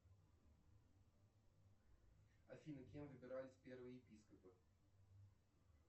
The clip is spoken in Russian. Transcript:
афина кем выбирались первые епископы